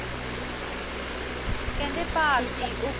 ਕਹਿੰਦੇ ਭਾਰਤੀ